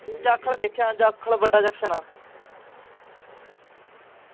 ਜਾਖਲ ਦੇਖਿਆ ਜਾਖਲ ਵੱਡਾ junction ਆ